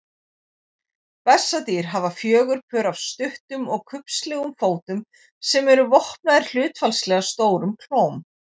Bessadýr hafa fjögur pör af stuttum og kubbslegum fótum sem eru vopnaðir hlutfallslega stórum klóm.